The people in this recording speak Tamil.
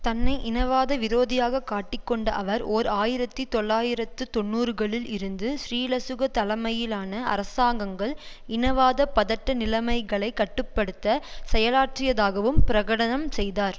தன்னை இனவாத விரோதியாக காட்டிக்கொண்ட அவர் ஓர் ஆயிரத்தி தொள்ளாயிரத்து தொன்னூறுகளில் இருந்து ஸ்ரீலசுக தலைமையிலான அரசாங்கங்கள் இனவாத பதட்ட நிலைமைகளை கட்டு படுத்த செயலாற்றியதாகவும் பிரகடனம் செய்தார்